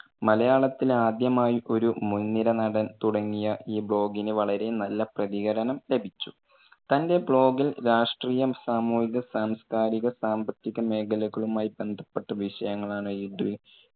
മലയാളത്തിൽ ആദ്യമായി ഒരു മുൻ നിര നടൻ തുടങ്ങിയ ഈ blog ന് വളരെ നല്ല പ്രതികരണം ലഭിച്ചു. തന്റെ blog ൽ രാഷ്ട്രീയം, സാമൂഹിക-സാംസ്‌കാരിക-സാമ്പത്തിക മേഖലകളുമായി ബന്ധപ്പെട്ട വിഷയങ്ങളാണ് എഴുതുക